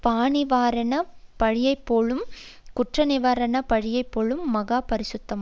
பாநிவாரண பலியைப்போலும் குற்றநிவாரண பலியைப்போலும் மகா பரிசுத்தமானது